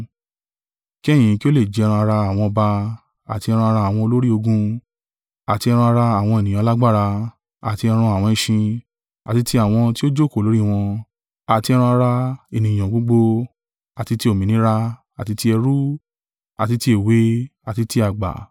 kí ẹ̀yin kí ó lè jẹ ẹran-ara àwọn ọba, àti ẹran-ara àwọn olórí ogun àti ẹran-ara àwọn ènìyàn alágbára, àti ẹran àwọn ẹṣin, àti ti àwọn tí ó jókòó lórí wọn, àti ẹran-ara ènìyàn gbogbo, àti ti òmìnira, àti ti ẹrú, àti ti èwe àti ti àgbà.”